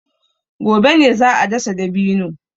Gobe ne za a dasa dabino.